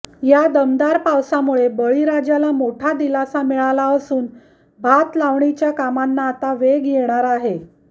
या दमदार पावसामुळे बळीराजाला मोठा दिलासा मिळाला असून भात लावणीच्या कामांना आता वेग येणार आहे